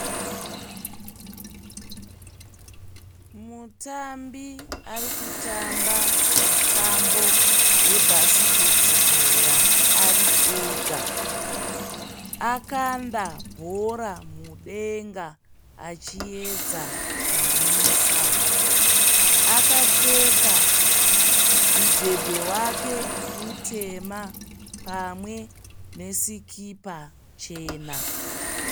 Mutambi ari kutamba mutambo webhasiketibhora ari ega. Akanda bhora mudenga achiedza kunwisa. Akapfeka mudhebhe wake mutema pamwe nesikipa chena.